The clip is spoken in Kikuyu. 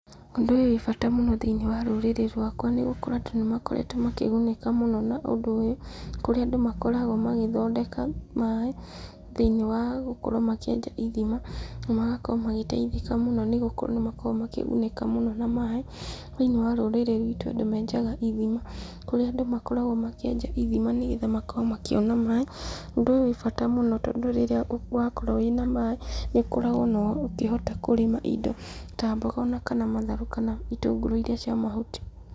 Ũndũ ũyũ wĩ bata mũno thĩiniĩ wa rũrĩrĩ rwakwa, nĩgũkorwo andũ nĩ makoretwo makĩgunĩka mũno na ũndũ ũyũ, kũrĩa andũ makoragwo magĩthondeka maĩ thĩiniĩ wa gũkorwo makĩenja ithima, na magakorwo magĩteithĩka mũno, nĩ gũkorwo nĩ makoragwo makĩgunĩka mũno na maĩ, thĩiniĩ wa rũrĩrĩ rwitũ andũ menjaga ithima, kũrĩa andũ makoragwo makĩenja ithima, nĩgetha makorwo makĩona maĩ, ũndũ ũyũ wĩ bata mũno, tondũ rĩrĩa wakorwo wĩ na maĩ nĩ ũkoragwo ona ũkĩhota kũrĩma indo, ta mboga, ona kana matharũ, kana itũngũrũ irĩa cia mahuti.